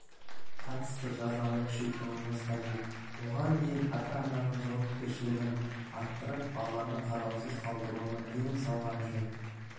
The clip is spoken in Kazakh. қатысты жазаны күшейтуіміз қажет оған дейін ата-ананың жауапкершілігін арттырып баланы қараусыз қалдыруына тыйым салған жөн